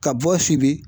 Ka bɔ sibiri